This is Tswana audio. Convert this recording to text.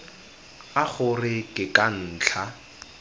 a gore ke ka ntlha